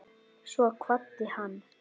Svo kvaddi hann.